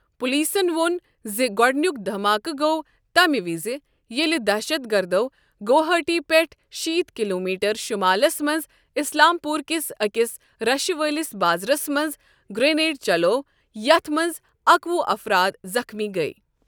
پولیسَن وون زِ گۄڈٕنیُوک دھماکہٕ گوٚو تَمہِ وِزِ ییٚلہِ دہشت گردَو گوہاٹی پٮ۪ٹھٕہ شیت کلومیٹر شُمالَس منٛز اسلام پوٗرٕ کِس أکِس رشہٕ وٲلِس بازرَس منٛز گرینیڈ چلوو یَتھ منٛز اکوُہ افراد زخمی گٔیہِ۔